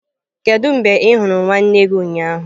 Kedu mgbe ị hụrụ nwanne gị ụnyaahụ?